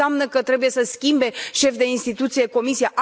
Nu înseamnă că trebuie să schimbe șefi de instituții Comisia.